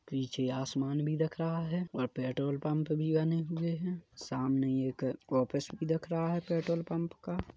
पीछे आसमान भी दिख रहा है और पेट्रोल पंप भी बने हुए हैं सामने एक ऑफिस भी दिख रहा है पेट्रोल पंप का--